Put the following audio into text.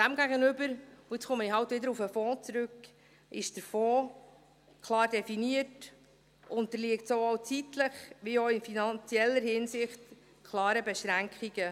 Demgegenüber – und jetzt komme ich halt wieder auf den Fonds zurück – ist der Fonds klar definiert, unterliegt sowohl zeitlich als auch in finanzieller Hinsicht klaren Beschränkungen.